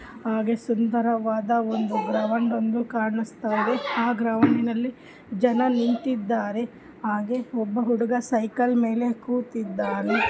ಹಾಗೆ ಸುಂದರವಾದ ಗ್ರಹವನ್ನು ಕಾಣಸ್ತಾಇದೆ